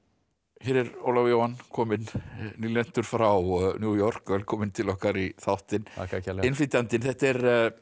hér er Ólafur Jóhann kominn frá New York velkominn til okkar í þáttinn þakka þér kærlega innflytjandinn þetta er